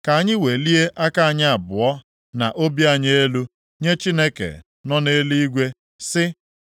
Ka anyị welie aka anyị abụọ na obi anyị elu nye Chineke nọ nʼeluigwe, sị: